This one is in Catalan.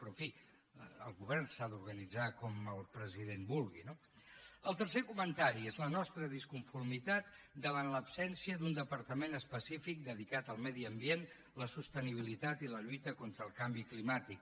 però en fi el govern s’ha d’organitzar com el president vulgui no el tercer comentari és la nostra disconformitat davant l’absència d’un departament específic dedicat al medi ambient la sostenibilitat i la lluita contra el canvi climàtic